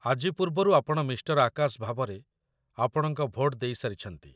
ଆଜି ପୂର୍ବରୁ ଆପଣ ମିଃ. ଆକାଶ ଭାବରେ ଆପଣଙ୍କ ଭୋଟ ଦେଇସାରିଛନ୍ତି